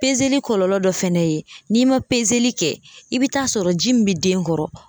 kɔlɔlɔ dɔ fɛnɛ ye n'i ma kɛ i bi taa sɔrɔ ji min bɛ den kɔrɔ